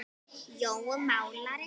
Jói málari